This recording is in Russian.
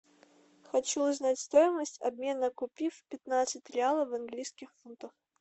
хочу узнать стоимость обмена купив пятнадцать реалов в английских фунтах